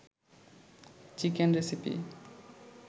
chicken recipe